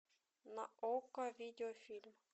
на окко видеофильм